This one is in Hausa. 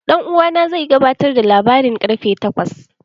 Dan uwana zai gabatar da labaran ƙarfe takwas.